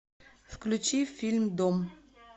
включи фильм дом